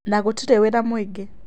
Na gũtirĩ wĩra mũingĩ.